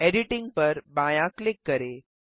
editing पर बायाँ click करें